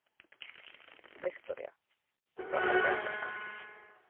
Viktoría: Sú allra besta?